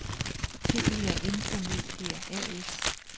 Telia InfoMedia A/S